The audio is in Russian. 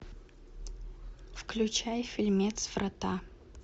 включай фильмец врата